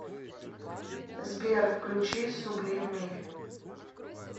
сбер включи сублими